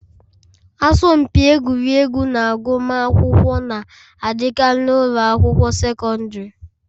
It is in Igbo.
Asọmpi egwuregwu na agụmakwụkwọ na-adịkarị n'ụlọ akwụkwọ sekọndrị.